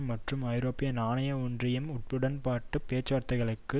மற்றும் ஐரோப்பிய நாணய ஒன்றியம் உடன்பாட்டு பேச்சுவார்த்தைகளுக்கு